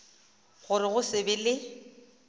gore go se be le